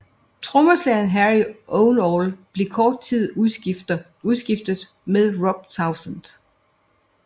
Trommeslageren Harry Ovenall blev kort efter udskiftet med Rob Townsend